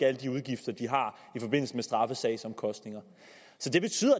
alle de udgifter de har i forbindelse med straffesagsomkostninger så det betyder